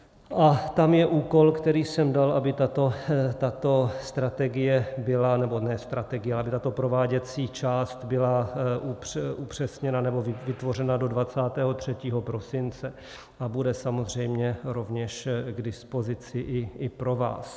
A tam je úkol, který jsem dal, aby tato strategie byla, nebo ne strategie, ale tato prováděcí část byla upřesněna, nebo vytvořena do 23. prosince, a bude samozřejmě rovněž k dispozici i pro vás.